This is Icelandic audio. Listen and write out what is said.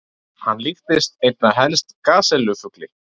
Hann líktist einna helst gasellu-fugli.